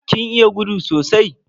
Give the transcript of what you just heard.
Kin iya gudu sosai?